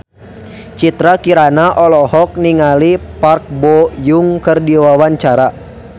Citra Kirana olohok ningali Park Bo Yung keur diwawancara